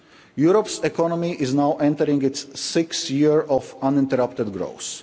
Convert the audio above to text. Europe's economy is now entering its sixth year of uninterrupted growth.